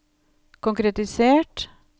konkretisert